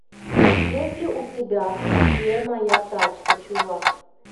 есть ли у тебя где моя тачка чувак